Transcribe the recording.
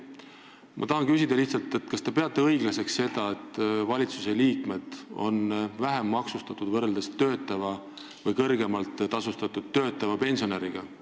Ma tahan küsida lihtsalt: kas te peate õiglaseks seda, et valitsuse liikmed on vähem maksustatud võrreldes töötava või kõrgemalt tasustatud töötava pensionäriga?